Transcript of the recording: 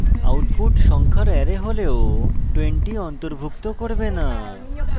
output সংখ্যার array হলেও 20 অন্তর্ভুক্ত করবে the